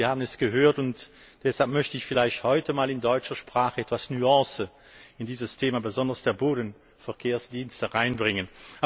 Sie haben es gehört, und deshalb möchte ich vielleicht heute einmal in deutscher Sprache etwas Nuance in dieses Thema besonders der Bodenverkehrsdienste hineinbringen.